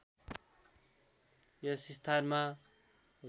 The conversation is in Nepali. यस स्थानमा